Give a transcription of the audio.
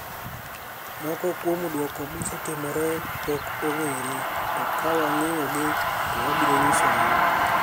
Moko kuom duoko mosetimore pod ok onig'ere, to ka wanig'eyogi to wabiro niyisou.'